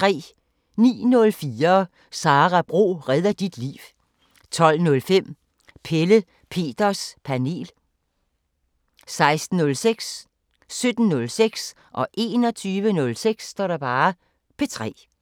09:04: Sara Bro redder dit liv 12:05: Pelle Peters Panel 16:06: P3 17:06: P3 21:03: P3